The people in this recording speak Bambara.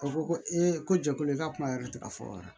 A ko ko ko jɛkulu i ka kuma yɛrɛ tɛ ka fɔ dɛ